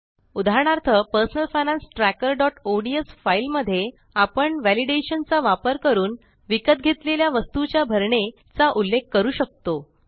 उदाहरणार्थ personal finance trackerओडीएस file मध्ये आपण वॅलिडेशन चा वापर करून विकत घेतलेल्या वस्तुच्या भरणे चा उल्लेख करू शकतो